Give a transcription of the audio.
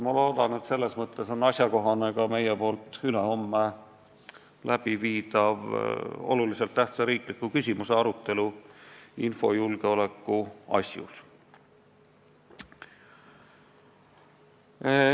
Ma loodan, et selles mõttes on asjakohane ka meie ülehomme korraldatav oluliselt tähtsa riikliku küsimuse arutelu infojulgeoleku asjus.